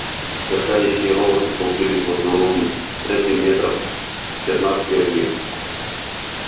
сверкающие роботы столпились в основном штреке метрах в пятнадцати от них